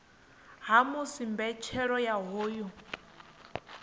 ha musi mbetshelo ya hoyu